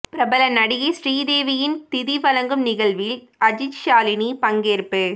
பிரபல நடிகை ஸ்ரீ தேவியின் திதி வழங்கும் நிகழ்வில் அஜித் ஷாலினி பங்கேற்பு